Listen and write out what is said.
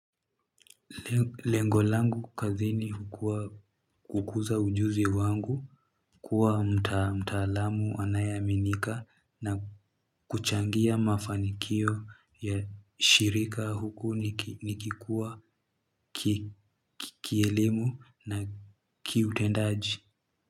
Lengo langu kazini hukuwa kukuza ujuzi wangu kuwa mtaalamu anayeaminika na kuchangia mafanikio ya shirika huku nikikuwa kielimu na kiutendaji.